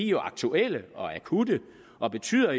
jo aktuelle og akutte og betyder